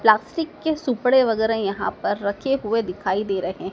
Plastic के सूपड़े वगैरा यहां पर रख हुए दिखाई दे रहे हैं।